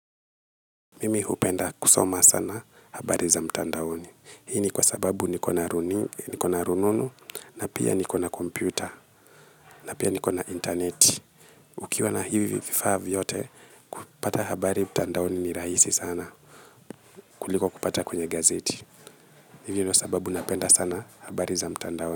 Mimi hupenda kusoma sana habari za mtandaoni. Hii ni kwa sababu niko na rununu, na pia niko na kompyuta, na pia niko na interneti. Ukiwa na hivi vifaa vyote, kupata habari mtandaoni ni rahisi sana kuliko kupata kwenye gazeti. Hivyo ndio sababu napenda sana habari za mtandaoni.